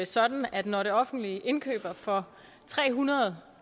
sådan at når det offentlige indkøber for tre hundrede